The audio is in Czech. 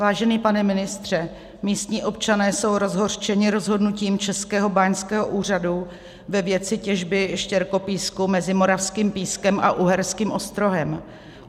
Vážený pane ministře, místní občané jsou rozhořčeni rozhodnutím Českého báňského úřadu ve věci těžby štěrkopísku mezi Moravským Pískem a Uherským Ostrohem.